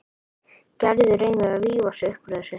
Gerður reynir að rífa sig upp úr þessu.